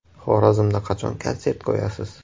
Xorazmda qachon konsert qo‘yasiz?